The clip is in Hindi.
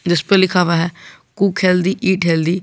जिस पे लिखा हुआ है कुक हेल्दी ईट हेल्दी ।